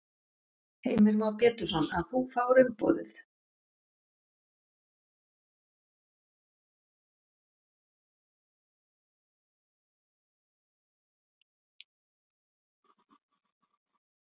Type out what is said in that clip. Heimir Már Pétursson: Að þú fáir umboðið?